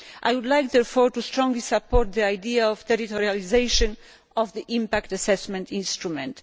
I would like, therefore, to strongly support the idea of territorialisation of the impact assessment instrument.